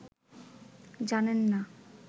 জানেন না